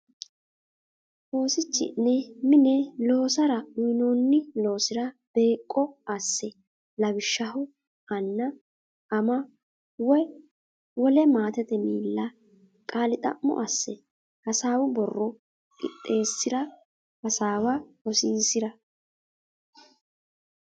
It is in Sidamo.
Oosichi’ne mine loosara uynoonni loosira beeqqo asse; lawishshaho anna, ama woy wole maatete miilla qaali xa’mo assa, hasaawu borro qixxeessi’ra, hasaawa rosiisi’ra.